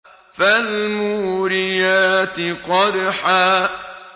فَالْمُورِيَاتِ قَدْحًا